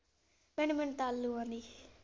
ਭੈਣੇ ਮੈਨੂੰ ਤਾਂ ਆਲੂ ਵਾਲੀ ।